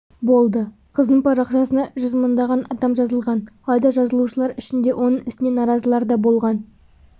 болды қыздың парақшасына жүз мыңдаған адам жазылған алайда жазылушылар ішінде оның ісіне наразылар да болған